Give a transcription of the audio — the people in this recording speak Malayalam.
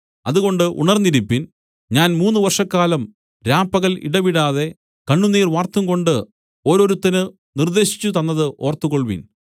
അതുകൊണ്ട് ഉണർന്നിരിപ്പിൻ ഞാൻ മൂന്ന് വർഷക്കാലം രാപ്പകൽ ഇടവിടാതെ കണ്ണുനീർ വാർത്തുംകൊണ്ട് ഓരോരുത്തന് നിർദ്ദേശിച്ചുതന്നത് ഓർത്തുകൊൾവിൻ